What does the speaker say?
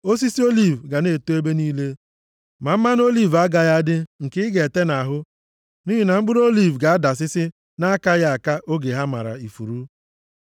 Osisi oliv ga na-eto ebe niile, ma mmanụ oliv agaghị adị nke ị ga-ete nʼahụ nʼihi na mkpụrụ oliv ga-adasịsị na-akaghị aka oge ha mara ifuru.